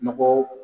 Nɔgɔ